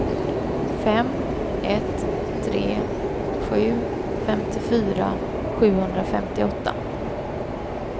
fem ett tre sju femtiofyra sjuhundrafemtioåtta